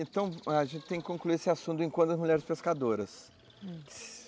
Então, a gente tem que concluir esse assunto do encontro das mulheres pescadoras.